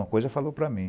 Uma coisa falou para mim.